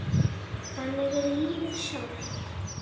Þannig er lífið sjálft.